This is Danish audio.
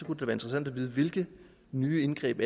interessant at vide hvilke nye indgreb